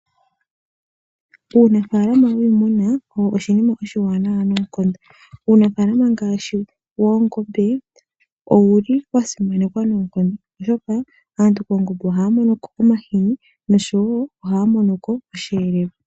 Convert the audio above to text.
Uunafaalama wiimuna owo oshinima oshiwaanawa noonkondo, uunafaalama ngaashi woongombe owuli wasimanekwa noonkondo molwaashoka aantu koongombe ohaya mono ko omahini oshowo osheelelwa.